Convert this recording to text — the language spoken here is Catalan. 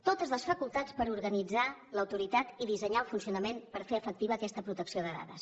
totes les facultats per organitzar l’autoritat i dissenyar el funcionament per fer efectiva aquesta protecció de dades